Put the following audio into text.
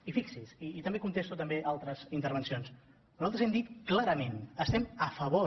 i fixi’s i també contesto altres intervencions nosaltres hem dit clarament estem a favor